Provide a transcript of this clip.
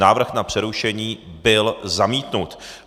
Návrh na přerušení byl zamítnut.